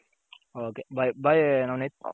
ok bye bye Navneet.